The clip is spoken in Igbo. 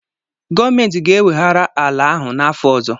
Gọọmenti ga-eweghara ala ahụ n'afọ ọzọ